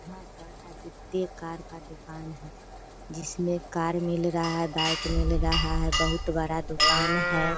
यहाँ पर आदित्य कार का दुकान है जिसमें कार मिल रहा है बाइक मिल रहा है बहुत बड़ा दुकान है।